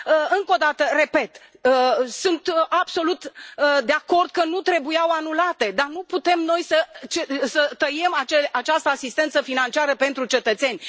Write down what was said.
Încă o dată, repet sunt absolut de acord că nu trebuiau anulate, dar nu putem noi să tăiem această asistență financiară pentru cetățeni.